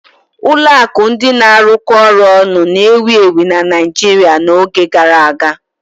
Ụlọ akụ ndị na-arụkọ ọrụ ọnụ na-ewu ewu na Naijiria n'oge gara aga.